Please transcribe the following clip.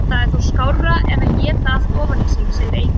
Það er þó skárra en éta allt ofan í sig, segir Eiki.